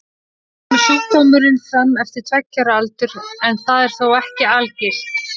Oft kemur sjúkdómurinn fram fyrir tveggja ára aldur en það er þó ekki algilt.